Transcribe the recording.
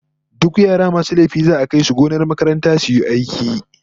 Duk yara masu laifi za'a kai su gonar makaranta su yi aiki